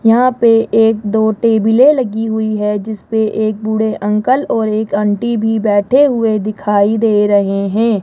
यहां पे एक दो टेबलें लगी हुई है जिसपे एक बूढ़े अंकल और एक आंटी भी बैठे हुए दिखाई दे रहे हैं।